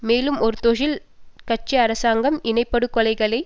மேலும் ஒரு தொழில் கட்சி அரசாங்கம் இனப்படுகொலைகளை